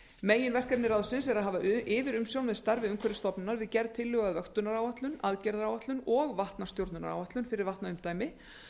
meginverkefni ráðsins er að hafa yfirumsjón með starfi umhverfisstofnunar við gerð tillögu að vöktunaráætlun aðgerðaráætlun og vatnastjórnunaráætlun fyrir vatnaumdæmi